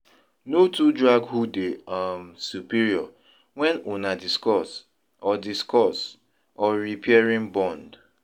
No too drag who dey um superior when una discuss or discuss or repairing bond.